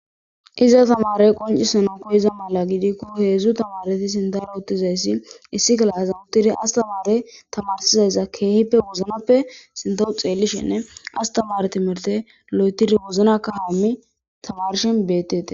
Izan tamarey qoncisanaw koyida mala gidiko hezhu tamareti sinthara utizaysi issi kifilezan uttidi astamarey tamarsizayssa keehipe wozinappe sintaw xeelishenne ha astamare loythidi wozina kahane wozanan kalishe de'etes